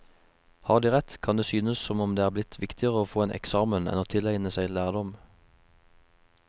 Har de rett, kan det synes som om det er blitt viktigere å få en eksamen enn å tilegne seg lærdom.